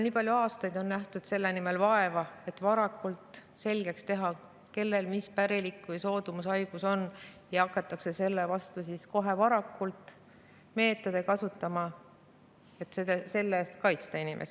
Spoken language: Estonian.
Nii palju aastaid on nähtud vaeva selle nimel, et varakult selgeks teha, kellel on milline pärilik haigus või soodumus selleks, et saaks hakata kohe varakult mingit meetodit kasutama, et inimest selle eest kaitsta.